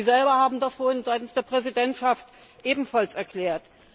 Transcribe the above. Sie selber haben das vorhin seitens der Präsidentschaft ebenfalls erklärt.